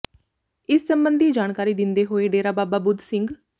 ਇਸ ਸਬੰਧੀ ਜਾਣਕਾਰੀ ਦਿੰਦੇ ਹੋਏ ਡੇਰਾ ਬਾਬਾ ਬੁਧ ਸਿੰਘ